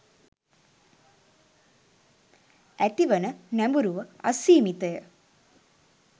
ඇතිවන නැඹුරුව අසීමිතය.